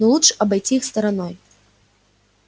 но лучше обойти их стороной